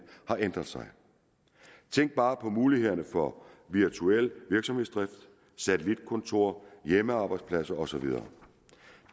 har ændret sig tænk bare på mulighederne for virtuel virksomhedsdrift satellitkontorer hjemmearbejdspladser og så videre